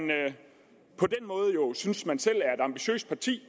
på den måde jo synes man selv er et ambitiøst parti